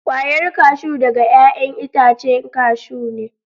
Kwayar kashu daga 'ya'yan itacen kashu ne.